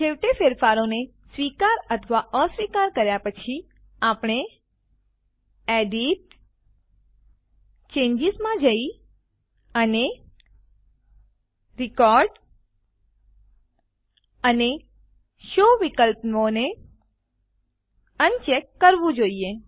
છેવટે ફેરફારોને સ્વીકાર અથવા અસ્વીકાર કર્યા પછી આપણે એડિટ જીટીજીટી ચેન્જીસ માં જઈ અને રેકોર્ડ અને શો વિકલ્પોને અનચેક કરવું જોઈએ